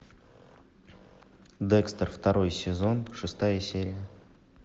декстер второй сезон шестая серия